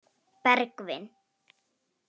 Bergvin